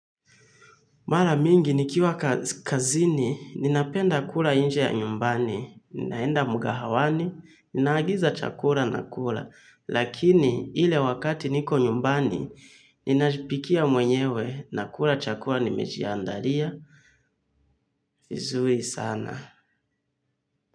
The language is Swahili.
Mara mingi, nikiwa kazini, ninapenda kula nje ya nyumbani. Ninaenda mgahawani, ninaagiza chakula nakula. Lakini, ile wakati niko nyumbani, ninajipikia mwenyewe nakula chakura nimejiandalia. Vizuri sana.